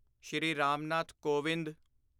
Shri Ram Nath Kovind